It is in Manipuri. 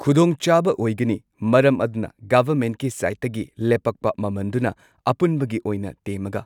ꯈꯨꯗꯣꯡꯆꯥꯕ ꯑꯣꯏꯒꯅꯤ ꯃꯔꯝ ꯑꯗꯨꯅ ꯒꯣꯚꯔꯃꯦꯟꯠꯀꯤ ꯁꯥꯏꯠꯇꯒꯤ ꯂꯦꯞꯄꯛꯄ ꯃꯃꯟꯗꯨꯅ ꯑꯄꯨꯟꯕꯒꯤ ꯑꯣꯏꯅ ꯇꯦꯝꯃꯒ